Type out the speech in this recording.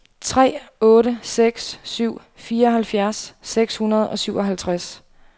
tre otte seks syv fireoghalvfjerds seks hundrede og syvoghalvtreds